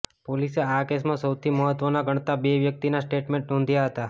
પોલીસે આ કેસમાં સૌથી મહત્ત્વના ગણાતા બે વ્યક્તિના સ્ટેટમેન્ટ નોંધ્યા હતાં